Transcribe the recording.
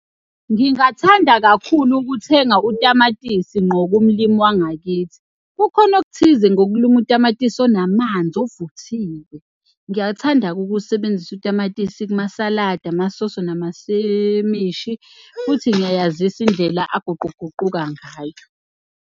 Ngingathanda kakhulu ukuthenga utamatisi nqo kumlimi wangakithi. Kukhona okuthize ngokulima utamatisi onamanzi ovuthiwe. Ngiyathanda-ke ukuwusebenzisa utamatisi kumasaladi, amasoso, namasemishi futhi ngiyayazisa indlela aguquguquka ngayo.